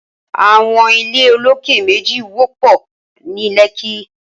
Awọn ilé ólóké méji wọpọ ni Lekki